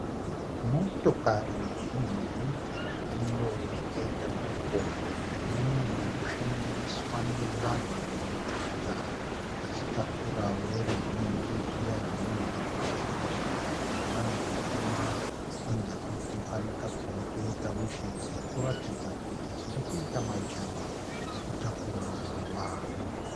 Motokari zhinji dzemhando yakaita doko, dzinonyanyo shandiswa nevanhu mumaguta vachitakura voruzhinji zviya zvinonzi zvomushika-shika. Nemhando dzama honda fiti, fani kago netoyota wish dzirikuratidza kuti dziri kuita majana ekutakura vanhu.